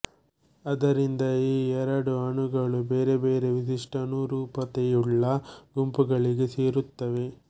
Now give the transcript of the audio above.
ಆದ್ದರಿಂದ ಈ ಎರಡು ಅಣುಗಳು ಬೇರೆ ಬೇರೆ ವಿಶಿಷ್ಟಾನುರೂಪತೆಯುಳ್ಳ ಗುಂಪುಗಳಿಗೆ ಸೇರಿರುತ್ತವೆ